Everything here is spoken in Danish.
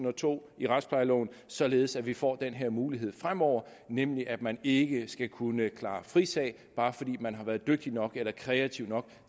og to i retsplejeloven således at vi får den her mulighed fremover nemlig at man ikke skal kunne klare frisag bare fordi man har været dygtig nok eller kreativ nok